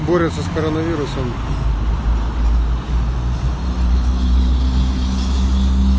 борются с коронавирусом